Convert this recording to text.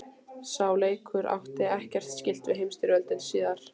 Sá leikur átti ekkert skylt við heimsstyrjöldina síðari.